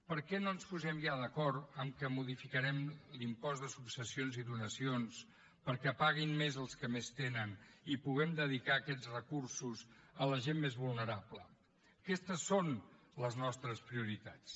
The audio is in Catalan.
per què no ens posem ja d’acord que modificarem l’impost de successions i donacions perquè paguin més els que més tenen i puguem dedicar aquests recursos a la gent més vulnerable aquestes són les nostres prioritats